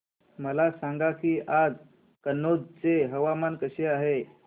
मला सांगा की आज कनौज चे हवामान कसे आहे